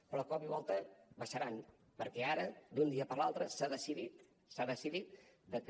però de cop i volta baixaran perquè ara d’un dia per l’altre s’ha decidit s’ha decidit de que